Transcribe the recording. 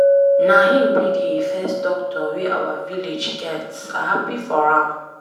Na him be the first doctor wey our village get. I happy for am.